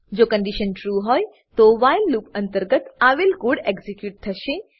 જો condition true હોય તો વ્હાઈલ લૂપ અંતર્ગત આવેલ કોડ એક્ઝીક્યુટ થશે